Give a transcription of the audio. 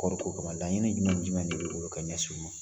Kɔɔri ko laɲini jumɛn ni jumɛn de bɛ bolo ka ɲɛsin u ma?